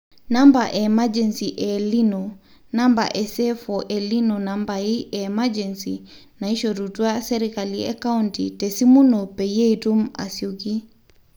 namba emergency e el nino ,namba seefo- el nino nambai e emergency naishorutua serikali e county te simu ino peyiee itum asioki